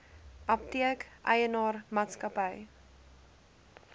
apteek eienaar maatskappy